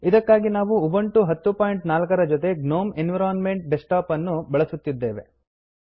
ಇದಕ್ಕಾಗಿ ನಾನು ಉಬಂಟು 1004 ರ ಜೊತೆ ಗ್ನೋಮ್ ಎನ್ವಿರೋನ್ಮೆಂಟ್ ಡೆಸ್ಕ್ಟಾಪ್ ಅನ್ನು ಉಪಯೋಗಿಸುತ್ತಿದ್ದೇನೆ